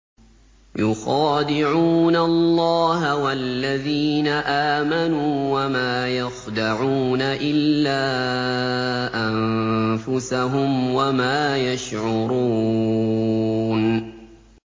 يُخَادِعُونَ اللَّهَ وَالَّذِينَ آمَنُوا وَمَا يَخْدَعُونَ إِلَّا أَنفُسَهُمْ وَمَا يَشْعُرُونَ